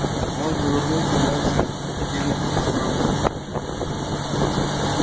он повернулся и молча кинулся на врагов